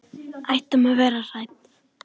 Ættum við að vera hrædd?